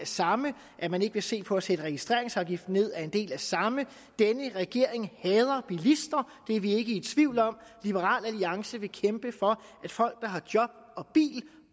samme at man ikke vil se på at sætte registreringsafgiften ned er en del af det samme denne regering hader bilister det er vi ikke i tvivl om liberal alliance vil kæmpe for at folk der har job og bil